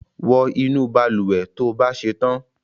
wọ inu balùwẹ̀ tó bà ṣetan!